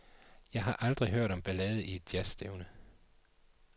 Jeg har aldrig hørt om ballade til et jazzstævne.